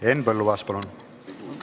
Henn Põlluaas, palun!